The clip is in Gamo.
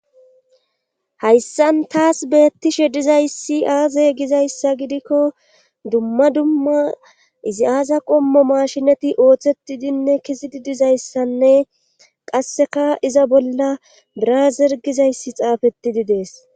hayssan taas beettishe dizayssi aaze gizayssa gidikko dumma dumma izi aaza qommo mashinati ooththetidinne kizidi dizayssanne qasseka iza bolla draazer gizayssi xaafeti di dees